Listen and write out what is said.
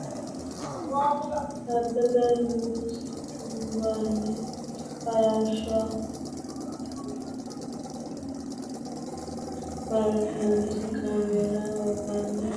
Abbebe nugusichuwayin- baraarsinoonnisi kaameela oofanni hee’reenna kaameelu jaddo iillitusi Abbebe nugusichuwayin- baraarsinoonnisi kaameela oofanni hee’reenna kaameelu jaddo iillitusi Abbebe nugusichuwayin-.